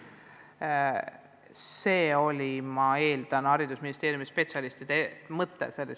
Nii sõnastasid probleemi ka haridusministeeriumi spetsialistid.